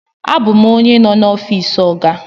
Abum onye no n'ofisi oga.